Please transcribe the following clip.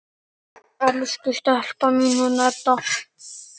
Elsku stelpan mín, hún Edda!